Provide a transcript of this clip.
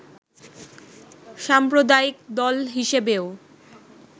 সাম্প্রদায়িক দল হিসেবেও